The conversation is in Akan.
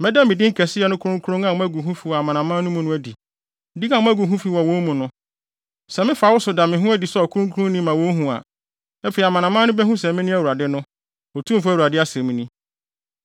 Mɛda me din kɛseyɛ no kronkronyɛ a moagu ho fi wɔ amanaman mu no adi, din a moagu ho fi wɔ wɔn mu no. Sɛ mefa wo so da me ho adi sɛ ɔkronkronni ma wohu a, afei amanaman no behu sɛ mene Awurade no, Otumfo Awurade asɛm ni.